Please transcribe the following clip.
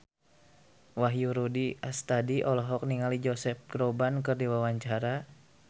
Wahyu Rudi Astadi olohok ningali Josh Groban keur diwawancara